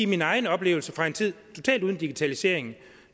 min egen oplevelse fra en tid totalt uden digitalisering